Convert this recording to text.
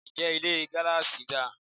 Ǹjẹ́ Ilé gíláàsì dà?